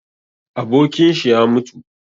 Abokinshi ya mutu